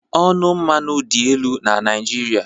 Ọnụ mmanụ dị elu na Naịjirịa